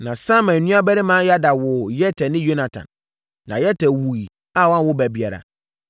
Na Samai nuabarima Yada woo Yeter ne Yonatan. Na Yeter wuiɛ a wanwo ba biara,